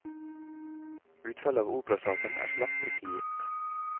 Utfallet av operasaken er slett ikke gitt.